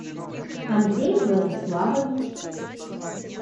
андрей владиславович